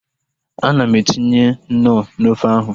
Ana m etinye knọ n'ofe ahu